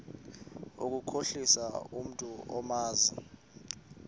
ukukhohlisa umntu omazi